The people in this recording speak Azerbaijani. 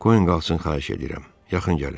Qoyun qalxın xahiş edirəm, yaxın gəlin.